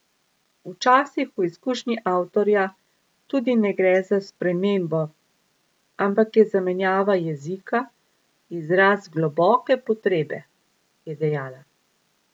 Včasih v izkušnji avtorja tudi ne gre za spremembo, ampak je zamenjava jezika izraz globoke potrebe, je dejala.